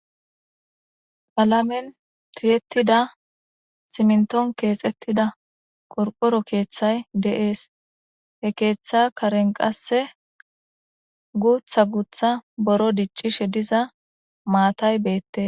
palamen tiyettida simnton keexettida korphoro keeththay de7ees he keeththa karen qasse guutha guutha boro diccishe diza maatay beette